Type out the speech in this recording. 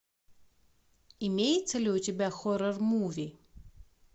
имеется ли у тебя хоррор муви